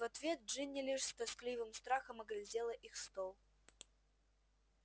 в ответ джинни лишь с тоскливым страхом оглядела их стол